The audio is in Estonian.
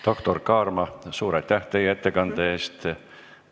Doktor Kaarma, suur aitäh teie ettekande eest!